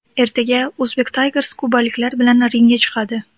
Ertaga Uzbek Tigers kubaliklar bilan ringga chiqadi.